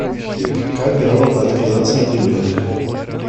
как грамотно отказаться от ребенка